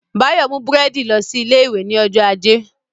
Báyọ̀ mú búrẹ́dì lọ sí ilé ìwé ní ọjọ́ ajé